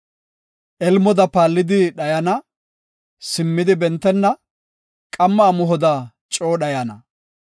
Elmoda paallidi dhayana; simmidi bentenna; qamma amuhoda coo dhayana.